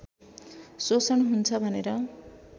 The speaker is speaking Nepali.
शोषण हुन्छ भनेर